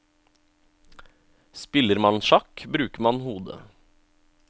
Spiller man sjakk, bruker man hodet.